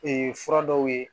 fura dɔw ye